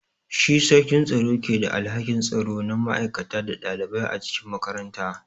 Shi sarkin tsaro ke da alhakin tsaro na ma'aikata da ɗalibai a cikin makaranta.